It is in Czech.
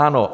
Ano.